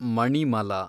Manimala